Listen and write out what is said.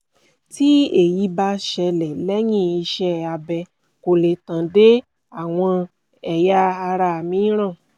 tí èyí bá ṣẹlẹ̀ lẹ́yìn iṣẹ́ abẹ kò lè tàn dé àwọn ẹ̀yà ara mìíràn